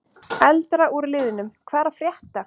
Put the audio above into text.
Eldra úr liðnum: Hvað er að frétta?